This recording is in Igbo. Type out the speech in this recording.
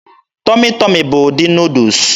Tọmị Tọmị bụ ụdị Nuudus.